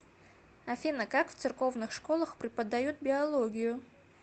афина как в церковных школах преподают биологию